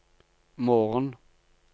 morgen